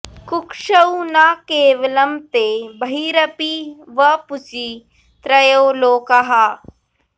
कुक्षौ न केवलं ते बहिरपि वपुषि त्रयो लोकाः